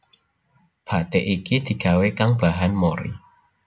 Bathik iki digawé kang bahan mori